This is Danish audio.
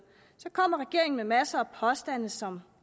kommer regeringen med masser af påstande som